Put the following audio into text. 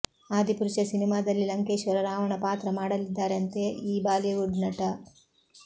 ಆದಿಪುರುಷ ಸಿನಿಮಾದಲ್ಲಿ ಲಂಕೇಶ್ವರ ರಾವಣ ಪಾತ್ರ ಮಾಡಲಿದ್ದಾರಂತೆ ಈ ಬಾಲಿವುಡ್ ನಟ